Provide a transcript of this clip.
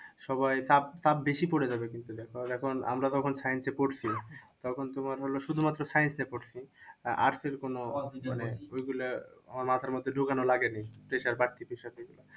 সবাই চাপ চাপ বেশি পড়ে যাবে কিন্তু দেখো। কারণ এখন আমরা যখন science পড়ছি তখন তুমার হলো শুধু মাত্র science এ পড়ছি বা arts এর কোনো ওই গুলা আমার মাথার মধ্যে ঢুকানো লাগেনি, pressure পাচ্ছি